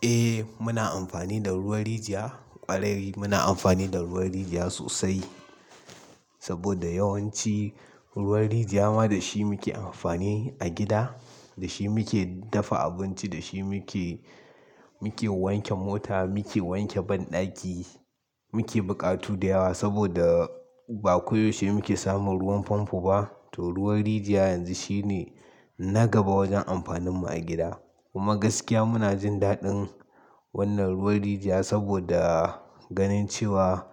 Eh muna amfani da ruwan rijiya, ƙwarai muna amfani da ruwan rijiya sosai saboda yawanci ruwan rijiya ma da shi muke amfani a gida. Da shi muke dafa abinci, da shi muke, muke wanke mota, muke wanke banɗaki, muke buƙatu da yawa saboda ba koyaushe muke samun ruwan famfo ba. To ruwan rijiya yanzu shine na gaba wajen amfanin mu a gida. Kuma gaskiya muna jin daɗin wannan ruwan rijiya saboda ganin cewa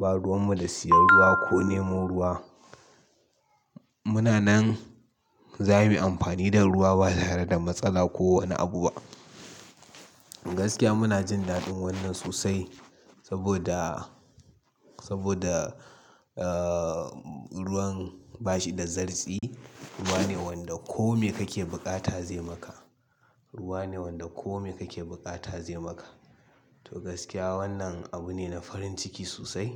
ba ruwan mu da siyan ruwa ko nemo ruwa. Muna nan za mu yi amfani da ruwa ba tare da matsala ko wani abu ba. Gaskiya muna jin daɗin wannan sosai saboda, saboda, ahhh, ruwan ba shi da zarci. Ruwa ne wanda kome kake buƙata zai maka. Ruwa ne wanda kome kake buƙata zai maka. To gaskiya wannan abu ne na farin ciki sosai.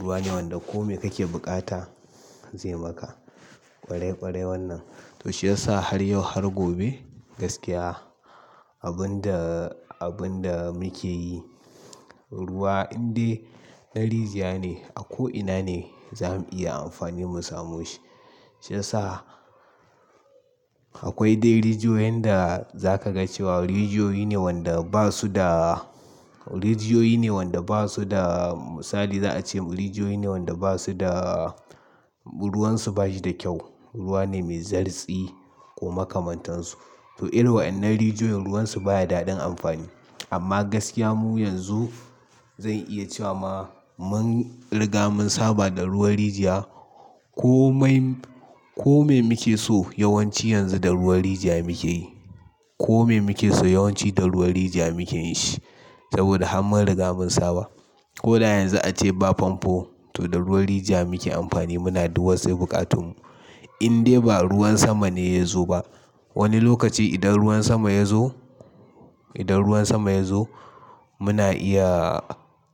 Ruwa ne wanda kome kake buƙata zai maka. Ƙwarai ƙwarai wannan. To shi ya sa har yau har gobe gaskiya abun da, abun da muke yi ruwa in dai na rijiya ne a ko'ina ne za mu iya amfani mu samo shi. Shi ya sa akwai dai rijiyoyin da za ka ga cewa rijiyoyi ne wanda ba su da, rijiyoyi ne wanda ba su da misali za a ce rijiyoyi ne wanda ba su da, ruwan su ba shi da kyau. Ruwa ne mai zartsi ko makamantansu. To irin wa'annan rijiyoyin ruwan su baya daɗin amfani. Amma gaskiya mu yanzu zan iya cewa ma mun riga mun saba da ruwan rijiya. Komai, kome muke so yawanci yanzu da ruwan rijiya muke yi. Komai muke so yawanci da ruwan rijiya muke yi shi saboda har mun riga mun saba. Ko da yanzu a ce ba famfo to da ruwan rijiya muke amfani muna duk wassai buƙatun mu. In dai ba ruwan sama ne ya zo ba. Wani lokaci idan ruwan sama ya zo, idan ruwan sama ya zo muna iya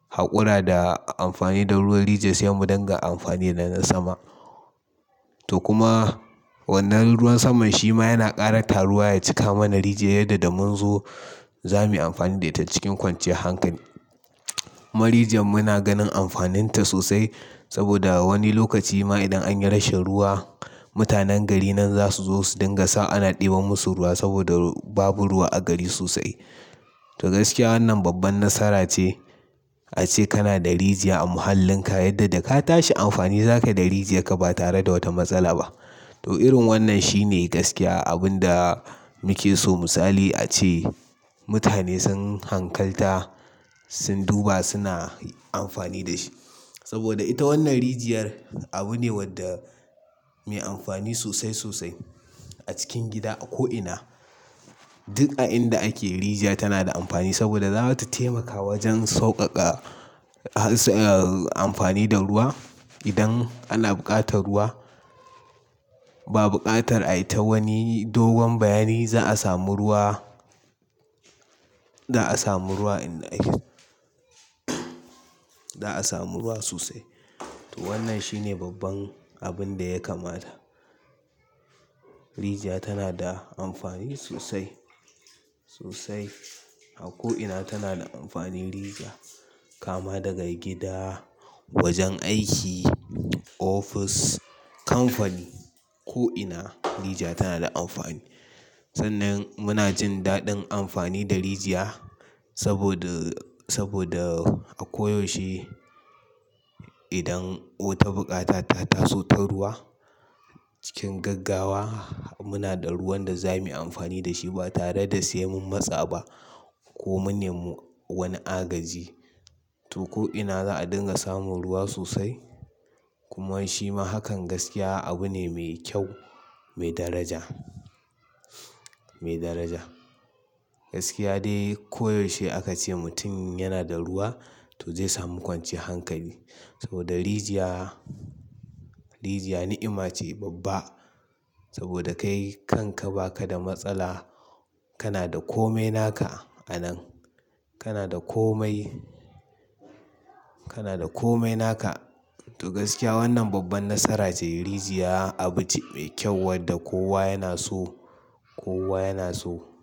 haƙura da amfani da ruwan rijiya sai mu dinga amfani da na sama. To kuma wannan ruwan saman shi ma yana ƙara taruwa ya cika mana rijiya yadda da mun zo za mu yi amfani da ita cikin kwanciyar hankali. Ma rijiya muna ganin amfanin ta sosai saboda wani lokaci ma idan an yi rashin ruwa mutanen gari nan za su zo su dinga sa ana ɗeba musu ruwa saboda babu ruwa a gari sosai. To gaskiya wannan babban nasara ce. A ce kana da rijiya a muhallin ka yadda da ka tashi amfani za ka yi da rijiya ka ba tare da wata matsala ba. To irin wannan shine gaskiya abun da muke so misali a ce mutane sun hankalta, sun duba suna amfani da shi. Saboda ita wannan rijiyar abu ne wadda mai amfani sosai sosai a cikin gida a ko'ina. Duk a inda ake rijiya tana da amfani saboda za ta taimaka wajen sauƙaƙa amfani da ruwa. Idan ana buƙatar ruwa, ba buƙatar a yi ta wani dogon bayani za a samu ruwa, za a samu ruwa in dai, za a samu ruwa sosai. To wannan shine babban abun da ya kamata. Rijiya tana da amfani sosai, sosai. A ko'ina tana da amfani rijiya. Kama daga gida, wajen aiki, ofis, kamfani ko'ina rijiya tana da amfani. Sannan muna jin daɗin amfani da rijiya saboda, saboda a koyaushe idan wata bukata ta taso ta ruwa cikin gaggawa muna da ruwan da za mu yi amfani da shi ba tare da siyan mun matsa ba ko manne wani agaji. To ko'ina za a dinga samu ruwa sosai. Kuman shima hakan abune mai kyau mai daraja gaskiya dai ko yaushe aka ce mutun yana da ruwa to zai samu kwanciyan hankali saboda rijiya, rijiya ni'ima ce babba. Saboda kai kanka ba kada matsala kana da komai naka a nan kana da komai, kana da komai naka to gaskiya wannan babbar nasara ce rijiya abu ce mai kyua wanda kowa yana do.